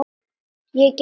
Ég gefst upp